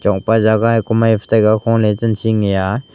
opa jaga ei kumai phai cha ga kholey chen sing e a.